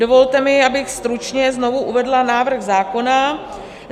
Dovolte mi, abych stručně znovu uvedla návrh zákona.